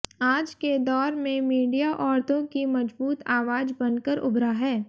आज के दौर में मीडिया औरतों की मजबूत आवाज बनकर उभरा है